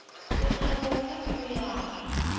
lethabo la pelo ya ka